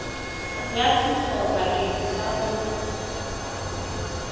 ya thuso bakeng sa ho